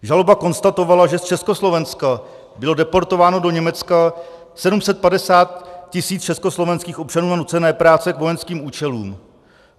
Žaloba konstatovala, že z Československa bylo deportováno do Německa 750 tis. československých občanů na nucené práce k vojenským účelům.